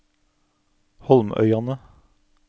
Holmøyane